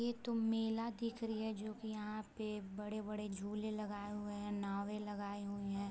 ये तो मेला दिख रही है जो की यहाँ पे बड़े-बड़े झूले लगाए हुए हैं नावे लगाए हुए हैं ।